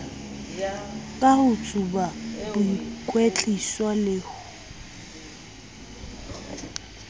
ka ho tsuba boikwetliso le